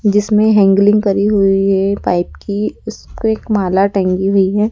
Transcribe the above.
जिसमें हैंडलिंग करी हुई है पाइप की उसपे एक माला टंगी हुई है।